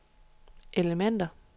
elementer